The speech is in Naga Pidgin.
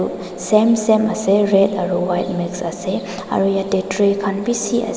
same same ase red aru white mix ase aru yate tray khan bishi ase.